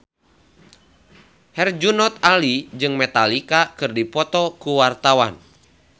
Herjunot Ali jeung Metallica keur dipoto ku wartawan